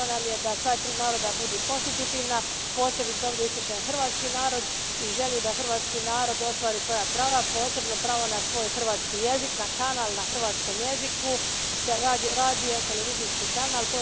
Stalo nam je da sva tri naroda budu konstitutivna, posebice ovdje ističem hrvatski narod i želju da hrvatski narod ostvari svoja prava, posebno pravo na svoj hrvatski jezik, na kanal na hrvatskom jeziku te radiotelevizijski kanal.